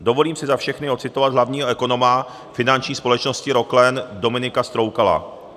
Dovolím si za všechny ocitovat hlavního ekonoma finanční společnosti Roklen Dominika Stroukala.